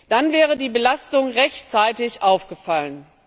Dann wäre die Belastung rechtzeitig aufgefallen.